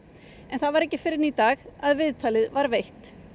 en það var ekki fyrr en í dag að viðtalið var veitt